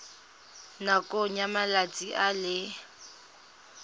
nakong ya malatsi a le